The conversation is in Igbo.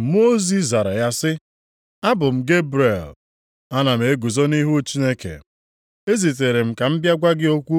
Mmụọ ozi zara ya sị, “Abụ m Gebrel. + 1:19 Mmụọ ozi nke na-eweta oziọma. Ana m eguzo nʼihu Chineke. Ezitere m ka m bịa gwa gị okwu